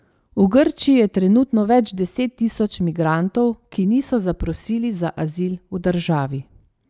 V Grčiji je trenutno več deset tisoč migrantov, ki niso zaprosili za azil v državi.